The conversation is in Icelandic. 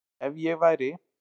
Ef ég væri